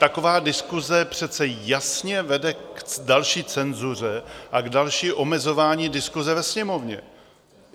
Taková diskuse přece jasně vede k další cenzuře a k dalšímu omezování diskuse ve Sněmovně.